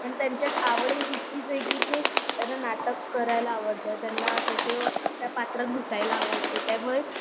आणि त्यांच्यात आवडही तितकीच आहे की ते त्यांना नाटक करायला आवडतं त्यांना त्याचं त्या पात्रात घुसायला आवडतं त्यामुळे